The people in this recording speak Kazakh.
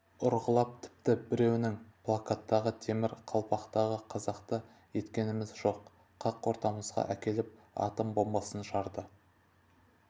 ұрғылап тіпті біреуінің плакаттағы темір қалпақты қазақты еткеніміз жоқ қақ ортамызға әкеліп атом бомбасын жарды